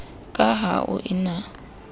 ka ha ho e na